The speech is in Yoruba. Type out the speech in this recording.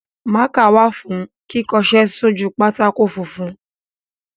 Mákà wà fún kíkọṣẹ́ sójú pátákó funfun.